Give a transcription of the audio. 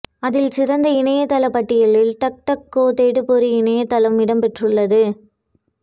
அதில் சிறந்த இணையதள பட்டியலில் டக்டக்கோ தேடுபொறி இணையதளம் இடம் பெற்றது